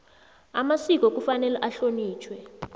amasiko kufanele ahlonitjhwe